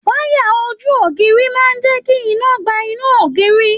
Wayà ojú ògiri máa jẹ kí iná gbà inú ògiri.